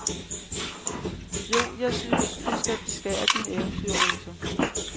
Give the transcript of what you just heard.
Jo, jeg synes, du skal beskære din eventyrrose.